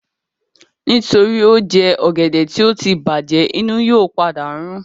Nítorí ó jẹ ọ̀gẹ̀dẹ̀ tí ó tí bàjẹ̀, inú yóò padà rún